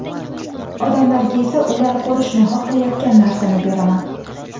Odamlarga esa ular ko‘rishni xohlayotgan narsani beraman.